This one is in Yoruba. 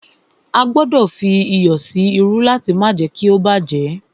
A gbọdọ̀ fí iyọ̀ sí irú láti má jé kí ó bá jẹ́.